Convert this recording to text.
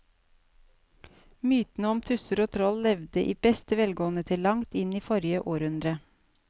Mytene om tusser og troll levde i beste velgående til langt inn i forrige århundre.